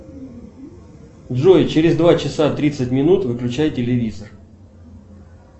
джой через два часа тридцать минут выключай телевизор